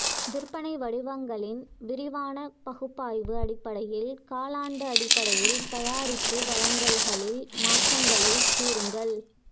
விற்பனை வடிவங்களின் விரிவான பகுப்பாய்வு அடிப்படையில் காலாண்டு அடிப்படையில் தயாரிப்பு வழங்கல்களில் மாற்றங்களைக் கூறுங்கள்